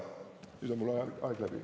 Nüüd on mul aeg läbi?